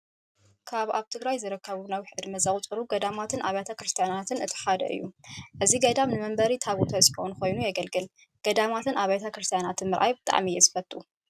ካብ ኣብ ትግራይ ዝርከቡ ነዊሕ ዕድመ ዘቁፀሩ ገዳማትን ኣብያተ ክርስቲያናትን እቲ ሓደ እዩ። እዚ ገዳም መንበሪ ታቦተ ፅዮን ኾይኑ የገልግል። ገዳማትን ኣብያተ ክርሲትያናትን ምርኣይ ብጣዕሚ እየ ዝፈቱ።